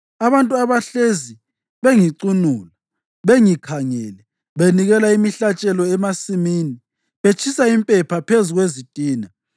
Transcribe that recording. abantu abahlezi bengicunula bengikhangele, benikela imihlatshelo emasimini, betshisa impepha phezu kwezitina;